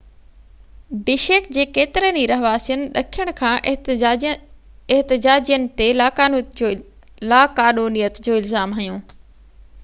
بشيڪ جي ڪيترن ئي رهواسين ڏکڻ کان احتجاجين تي لاقانونيت جو الزام هنيو